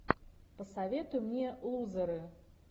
посоветуй мне лузеры